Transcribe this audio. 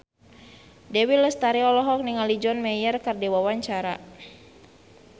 Dewi Lestari olohok ningali John Mayer keur diwawancara